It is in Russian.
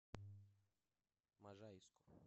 можайску